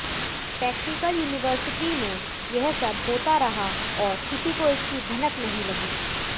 technical university में यह सब होता रहा और किसी को इसकी भनक नहीं लगी